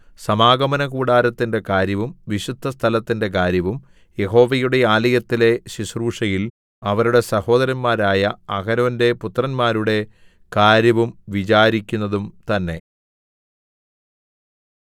സമാഗമനകൂടാരത്തിന്റെ കാര്യവും വിശുദ്ധസ്ഥലത്തിന്റെ കാര്യവും യഹോവയുടെ ആലയത്തിലെ ശുശ്രൂഷയിൽ അവരുടെ സഹോദരന്മാരായ അഹരോന്റെ പുത്രന്മാരുടെ കാര്യവും വിചാരിക്കുന്നതും തന്നേ